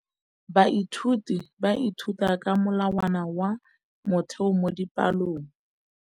Baithuti ba ithuta ka molawana wa motheo mo dipalong.